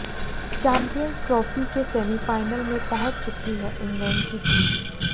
champions trophy के semifinal में पहुंच चुकी है इंग्लैंड की टीम